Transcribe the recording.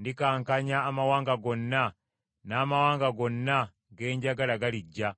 Ndikankanya amawanga gonna, n’amawanga gonna ge njagala galijja,